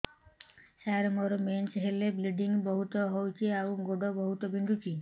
ସାର ମୋର ମେନ୍ସେସ ହେଲେ ବ୍ଲିଡ଼ିଙ୍ଗ ବହୁତ ହଉଚି ଆଉ ଗୋଡ ବହୁତ ବିନ୍ଧୁଚି